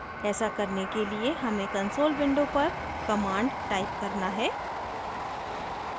ऐसा करने के लिए हमें console window पर commands type करना है